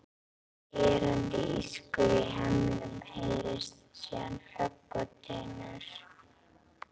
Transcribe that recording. Skerandi ískur í hemlum heyrist, síðan högg og dynkur.